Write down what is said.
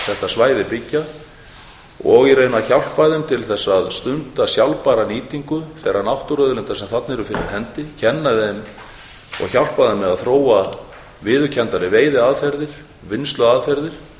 svæði byggja og í raun að hjálpa þeim til að til þess að stunda sjálfbæra nýtingu þeirra náttúruauðlinda sem þarna eru fyrir hendi kenna þeim og hjálpa þeim með að þróa viðurkenndari veiðiaðferðir vinnsluaðferðir